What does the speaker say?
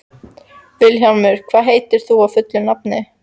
Vilhjálmur, hvað heitir þú fullu nafni?